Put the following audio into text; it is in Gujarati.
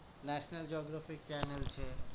National geography channel છે